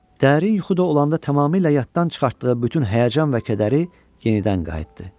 Dərin yuxuda olanda tamamilə yaddan çıxartdığı bütün həyəcan və kədəri yenidən qayıtdı.